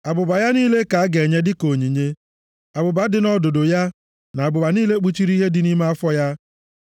Abụba ya niile ka a ga-enye dịka onyinye: abụba dị nʼọdụdụ ya, na abụba niile kpuchiri ihe dị nʼime afọ ya,